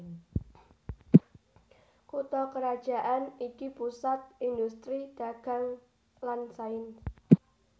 Kutha krajan iki pusat indhustri dagang lan sains